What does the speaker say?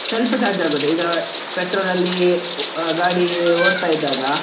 ಸ್ವಲ್ಪ charge ಆಗುತ್ತೆ, ಈಗ petrol ಅಲ್ಲಿ ಗಾಡಿ ಓಡ್ತ ಇದ್ದಗಾ.